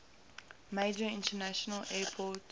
major international airport